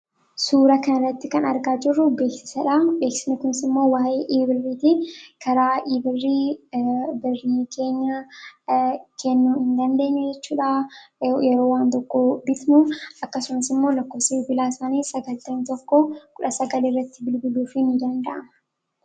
Suuraa kanarratti kan argaa jirru beeksisadha. Beeksisni kunimmoo waayee E-biirriiti. Karaa e-birrii kennaa keenya kennuu dandeenya jechuudha. Yeroo waan tokko bitnu akkasumas lakkoofsa bilbilaa isaanii 9119 irratti bilbiluufiin ni danda'ama.